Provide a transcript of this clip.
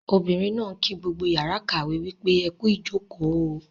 Ọmọbìnrin náà ń kí gbogbo yàrá ìkàwé wípé "ẹkú ìjòkó o"